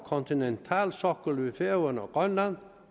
kontinentalsoklen ved færøerne og grønland